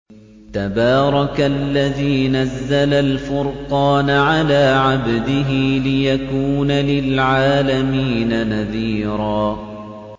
تَبَارَكَ الَّذِي نَزَّلَ الْفُرْقَانَ عَلَىٰ عَبْدِهِ لِيَكُونَ لِلْعَالَمِينَ نَذِيرًا